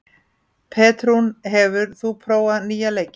Petrún, hefur þú prófað nýja leikinn?